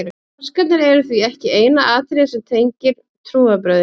páskarnir eru því ekki eina atriðið sem tengir trúarbrögðin